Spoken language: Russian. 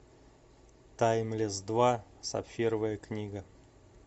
таймлесс два сапфировая книга